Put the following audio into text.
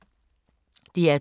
DR2